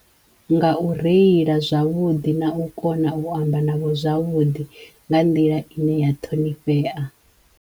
Nga u reila zwavhudi na u kona u amba navho zwavhuḓi nga nḓila ine ya ṱhonifhea.